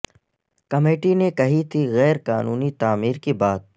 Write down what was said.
committee نے کہی تھی غیر قانونی تعمیر کی بات